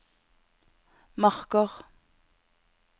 Marker